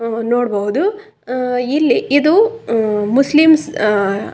Muslims ಜನಾಂಗದವರಿಗೆ ದೇವಸ್ಥಾನ ಇದ್ದಾಹಾಗೆ. ಅವ್ರ ಬಂದ ಇಲ್ಲಿ ನಮಾಜನ್ನ ಮಾಡ್ತಾರೆ.